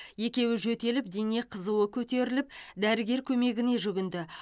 екеуі жөтеліп дене қызуы көтеріліп дәрігер көмегіне жүгінді